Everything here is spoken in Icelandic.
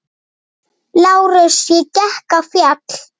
LÁRUS: Ég gekk á fjall.